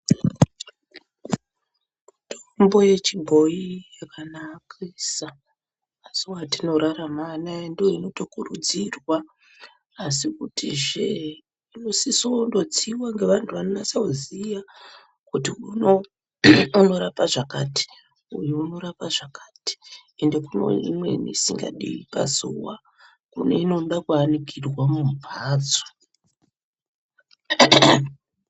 Mitombo yechibhoyi yakanakisa mazuva etinorarama anaya ndiyo inotokurudzirwa asi kutizve inosisa kundotsiwa neantu anonasa kuziya kuti unorapa zvakati uyu unorapa zvakati ende kune imweni isikadi pazuva kune inode kuanikirwa mumbatso .